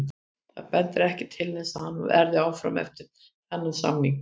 Það bendir ekkert til þess að hann verði áfram eftir þann samning.